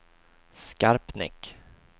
Skarpnäck